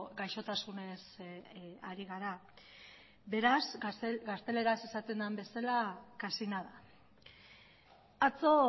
gaixotasunez ari gara beraz gazteleraz esaten den bezala casi nada atzo